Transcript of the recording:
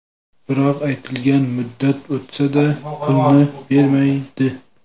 Biroq aytilgan muddat o‘tsa-da, pulni bermaydi.